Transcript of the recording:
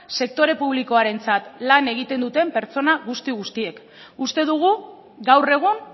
sektore publikoarentzat lan egiten duten pertsona guzti guztiek uste dugu gaur egun